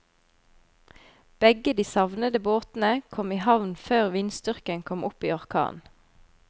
Begge de savnede båtene kom i havn før vindstyrken kom opp i orkan.